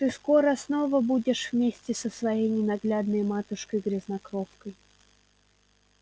ты скоро снова будешь вместе со своей ненаглядной матушкой-грязнокровкой